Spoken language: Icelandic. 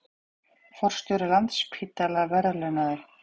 Forstjóri Landspítala verðlaunaður